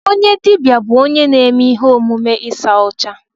Onye dibịa bụ onye na-eme ihe omume ịsa ọcha.